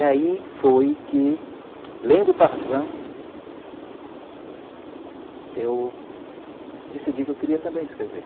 E aí foi que, lendo o Tarzan, eu decidi que eu queria também escrever.